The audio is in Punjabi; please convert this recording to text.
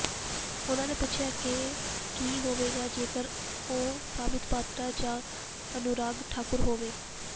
ਉਨ੍ਹਾਂ ਨੇ ਪੁੱਛਿਆ ਕਿ ਕੀ ਹੋਵੇਗਾ ਜੇਕਰ ਉਹ ਸੰਬਿਤ ਪਾਤਰਾ ਜਾਂ ਅਨੁਰਾਗ ਠਾਕੁਰ ਹੋਏ